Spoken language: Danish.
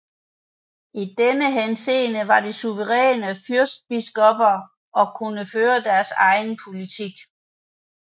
I denne henseende var de suveræne fyrstbiskopper og kunne føre deres egen politik